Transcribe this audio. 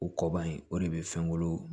O kɔ ban yen o de bɛ fɛn kolo